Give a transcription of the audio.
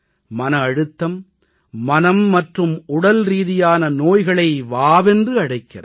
மன அழுத்தம் மனம் மற்றும் உடல்ரீதியான நோய்களை வாவென்றழைக்கிறது